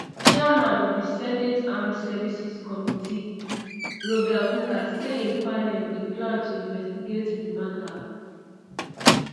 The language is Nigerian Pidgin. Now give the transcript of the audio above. chairman of di senate armed services committee roger wicker say im panel dey plan to investigate um di matter